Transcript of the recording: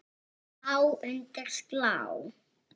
Þá undir slá.